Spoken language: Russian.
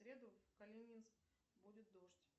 в среду в калининск будет дождь